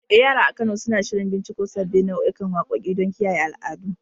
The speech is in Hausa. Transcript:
Eh, yara a Kano suna shirin binciko sabbin nau'ikan waƙoƙi don kiyaye al'adu.